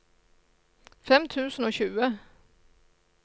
fem tusen og tjue